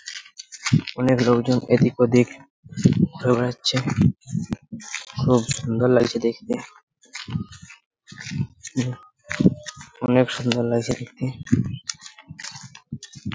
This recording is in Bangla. অনেক লোকজন এদিক ওদিক দৌড়াচ্ছে খুব সুন্দর লাগছে দেখতে অনেক সুন্দর লাগছে দেখতে।